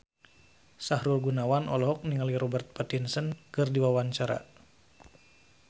Sahrul Gunawan olohok ningali Robert Pattinson keur diwawancara